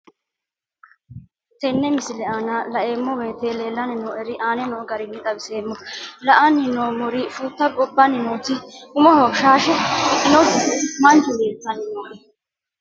Tenne misile aana laeemmo woyte leelanni noo'ere aane noo garinni xawiseemmo. La'anni noomorri fuutta gobbanni nooti umoho shaashe udidhinoti mancho leelitanni nooe.